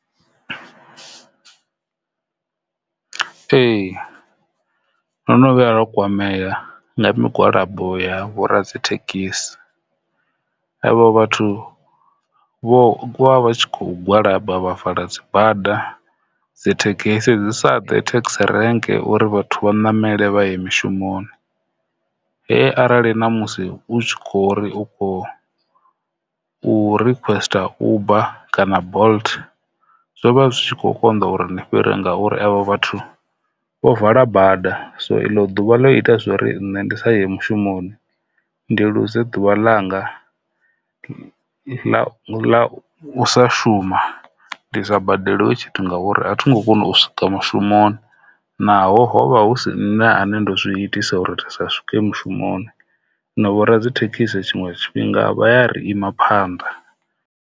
Ee, ndo no vhuya nda kwamea nga migwalabo ya vho radzithekhisi avho vhathu vho vha tshi kho gwalaba vha vala dzibada dzithekhisi dzi sa ḓe thekhisi renke uri vhathu vha namele vha ye mishumoni he arali na musi u tshi khori u kho requester uber kana bolt zwo vha zwi tshi kho konḓa uri u fhire ngauri avho vhathu vho vala bada, so eḽo ḓuvha ḽo ita zwori nṋe ndi sa ye mushumoni ndi luze ḓuvha ḽanga ḽa u, ḽa u sa shuma ndi sa badeliwe tshithu ngauri a thongo kona u swika mushumoni naho hovha hu si nṋe ane ndo zwi itisa uri ndi sa swike mushumoni na vho radzithekhisi tshiṅwe tshifhinga vha ya ri ima phanḓa.